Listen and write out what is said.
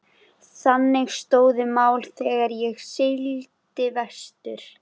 Þannig stóðu mál þegar ég sigldi vestur.